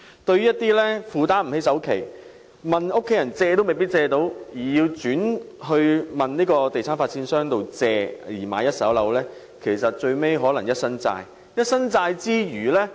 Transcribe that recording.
對於一些無法負擔首期，又沒有家人幫忙而要向地產發展商借錢購買一手樓宇的人，他們最終可能換來一身債。